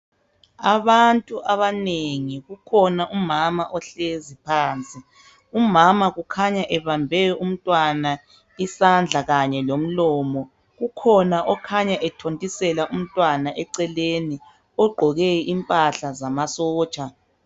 Abantu abanengi kukhona umama ohlezi phansi ,umama kukhanya ebambe umntwana isandla kanye lomlomo. Kukhona okhanya ethontisela umntwana eceleni ogqoke impahla zamasotsha.